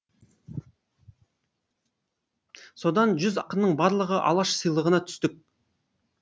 содан жүз ақынның барлығы алаш сыйлығына түстік